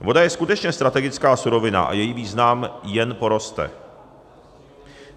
Voda je skutečně strategická surovina a její význam jen poroste.